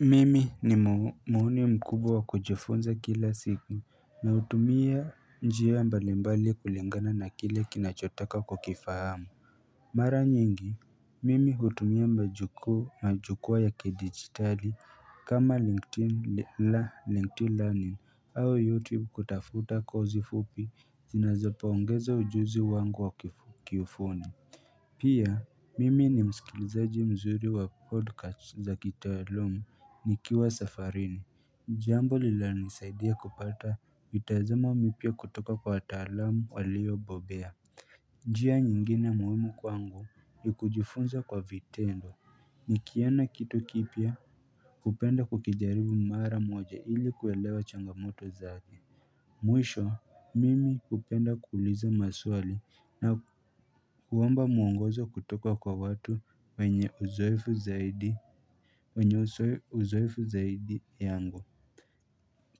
Mimi ni mhuni mkubwa wa kujifunza kila siku na hutumia njia mbali mbali kulingana na kile kinachotoka kwa kukifahamu Mara nyingi, Mimi hutumia majuku majukwaa ya kidigitali kama linkedin la linkedin learning au youtube kutafuta kosi fupi zinazopongeza ujuzi wangu wa kiufundi Pia, mimi ni msikilizaji mzuri wa podcast za kitaaluma nikiwa safarini Jambo linalonisaidia kupata mitazamo mipya kutoka kwa wataalamu waliyobobea njia nyingine muhimu kwangu, ni kujifunza kwa vitendo nikiona kitu kipya hupenda kukijaribu mara moja ili kuelewa changamoto zake. Mwisho mimi hupenda kuuliza maswali na kuomba muongozo kutoka kwa watu wenye uzoefu zaidi wenye uzoefu zaidi yangu